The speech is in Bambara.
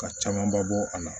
Ka camanba bɔ a la